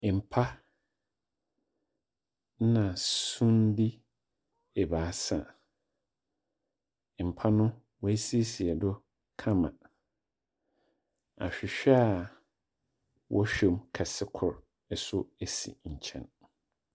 Mpa na sumde ebaasa. Mpa no a woesiesie do kama. Ahwehwɛ a wɔhwɛm kɛse kor nso si nkyɛn.